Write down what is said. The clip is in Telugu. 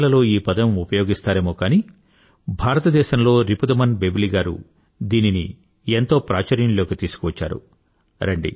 విదేశాలలో ఈ పదం ఉపయోగిస్తారేమో కానీ భారతదేశంలో రిపుదమన్ బెవ్లి గారు దీనిని ఎంతో ప్రాచుర్యంలోకి తీసుకువచ్చారు